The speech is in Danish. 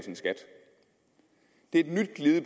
deltage i